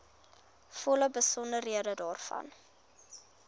volle besonderhede daarvan